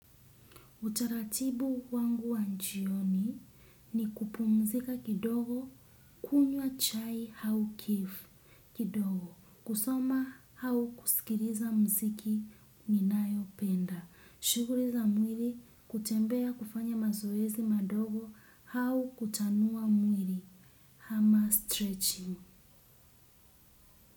Utaratibu wangu wa jioni ni kupumzika kidogo kunywa chai au kifo kidogo, kusoma au kusikiliza mziki ninayo penda. Shughuli za mwili hutembea kufanya mazoezi madogo au kutanua mwili ama stretching.